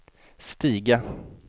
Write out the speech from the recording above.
stiga